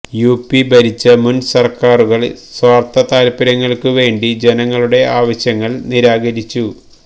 UP ഭരിച്ച മുൻ സർക്കാരുകൾ സ്വാർഥ താൽപര്യങ്ങൾക്കുവേണ്ടി ജനങ്ങളുടെ ആവശ്യങ്ങൾ നിരാകരിച്ചു